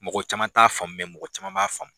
Mɔgɔ caman t'a faamu dɛ mɔgɔ caman b'a faamu.